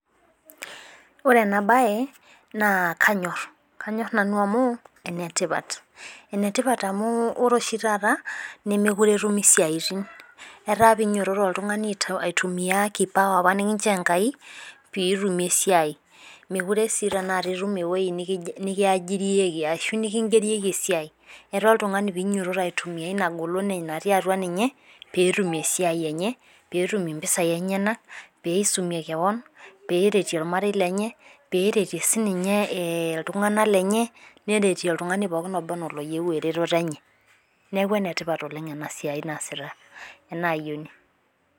Ore ena bae naa kanyor. kanyor, nanu amu ene tipat. ene tipat amu ore oshi taata nemeekure etumi siatin. eetaa pee inyiototo oltungani aitumia kipawa apa mikinchoo Enkai pee itumie eisijiriyieki ashu nikigirieki esiai. ira oltungani pee inyiototo aitumia Ina golon natii atua ninye. pee etum esiai enye. pee etum mpisai enyenak. peeisumie kewon. pee eretie olmarei lenye. pee eretie sii ninye iltunganak lenye. neretie oltungani pookin oba anaa oloyieu eretoto enye. neeku ene tipat Oleng ena siai niasita. enanayioni.